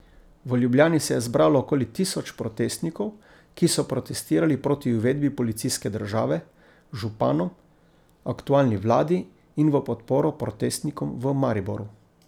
V Ljubljani se je zbralo okoli tisoč protestnikov, ki so protestirali proti uvedbi policijske države, županom, aktualni vladi in v podporo protestnikom v Mariboru.